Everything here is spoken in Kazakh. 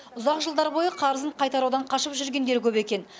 ұзақ жылдар бойы қарызын қайтарудан қашып жүргендер көп екен